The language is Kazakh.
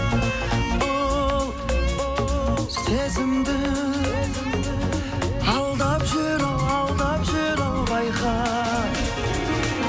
ол сезімді алдап жүр ау алдап жүр ау байқа